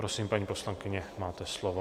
Prosím, paní poslankyně, máte slovo.